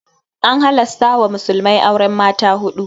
An halasta wa musulmai auren mata huɗu.